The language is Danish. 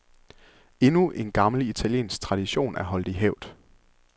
Endnu en gammel italiensk tradition er holdt i hævd.